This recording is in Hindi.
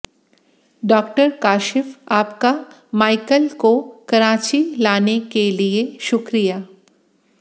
डॉ काशिफ आपका माइकल को कराची लाने के लिए शुक्रिया